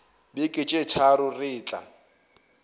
beke tše tharo re tla